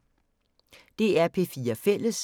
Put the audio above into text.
DR P4 Fælles